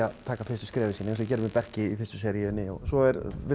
taka fyrstu skrefin sín eins og með Börk í fyrstu seríunni svo